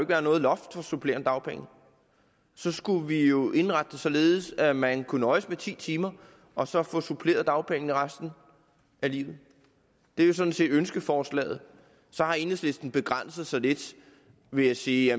være noget loft for supplerende dagpenge så skulle vi jo indrette det således at man kunne nøjes med ti timer og så få supplerende dagpenge resten af livet det er jo sådan set ønskeforslaget så har enhedslisten begrænset sig lidt ved at sige